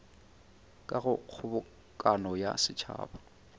ka go kgobokano ya setšhaba